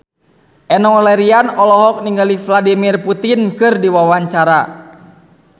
Enno Lerian olohok ningali Vladimir Putin keur diwawancara